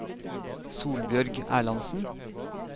Solbjørg Erlandsen